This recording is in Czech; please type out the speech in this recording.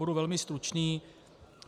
Budu velmi stručný.